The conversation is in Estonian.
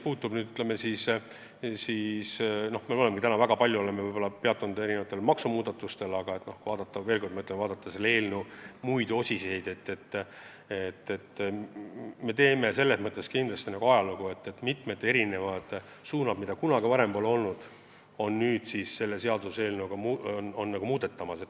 Me oleme täna väga palju peatunud maksumuudatustel, aga ma veel kord ütlen, et kui vaadata selle eelnõu eri osiseid, siis me teeme selles mõttes kindlasti ajalugu, et selle eelnõuga on võetud varasemast erinevad suunad.